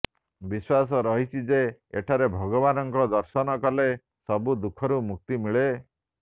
ବିଶ୍ୱାସ ରହିଛି ଯେ ଏଠାରେ ଭଗବାନଙ୍କ ଦର୍ଶନ କଲେ ସବୁ ଦୁଃଖରୁ ମୁକ୍ତି ମିଳେ